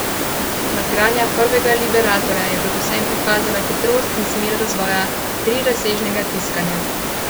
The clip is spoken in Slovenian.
Nadgradnja prvega liberatorja je predvsem pokazala hitrost in smer razvoja trirazsežnega tiskanja.